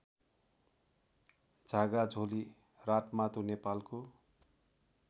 झागाझोली रातमाटो नेपालको